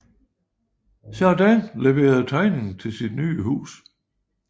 Jardin levere tegning til sit nye hus